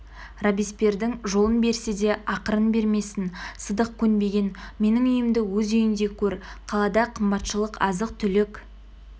робеспьердің жолын берсе де ақырын бермесін сыдық көнбеген менің үйімді өз үйіндей көр қалада қымбатшылық азық-түлік